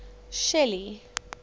shelly